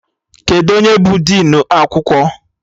Kedụ onye bụ dịnụ akwụkwọ?